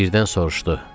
Birdən soruşdu.